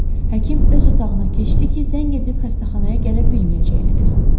Həkim öz otağına keçdi ki, zəng edib xəstəxanaya gələ bilməyəcəyini desin.